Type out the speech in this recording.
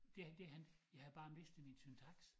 Det det han jeg havde bare mistet min syntaks